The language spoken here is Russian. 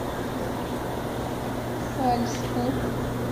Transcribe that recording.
сальску